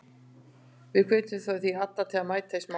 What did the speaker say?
Við hvetjum því alla til að mæta í Smárann.